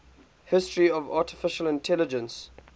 history of artificial intelligence